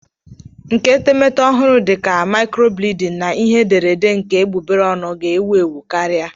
Nkà etemeete ọhụrụ dị ka maicrobleding na ihe ederede nke egbugbere ọnụ ga-ewu ewu karịa.